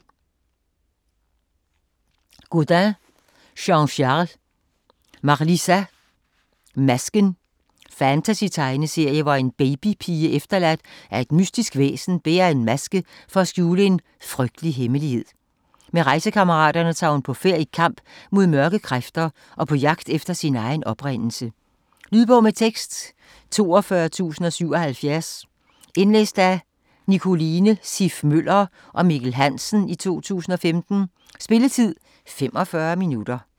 Gaudin, Jean-Charles: Marlysa: Masken Fantasy-tegneserie, hvor en baby-pige efterladt af et mystisk væsen bærer en maske for at skjule en frygtelig hemmelighed. Med rejsekammerater tager hun på færd i kamp mod mørke kræfter og på jagt efter sin egen oprindelse. Lydbog med tekst 42077 Indlæst af Nicoline Siff Møller og Mikkel Hansen, 2015. Spilletid: 0 timer, 45 minutter.